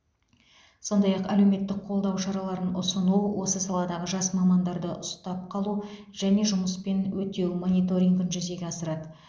сондай ақ әлеуметтік қолдау шараларын ұсыну осы саладағы жас мамандарды ұстап қалу және жұмыспен өтеу мониторингін жүзеге асырады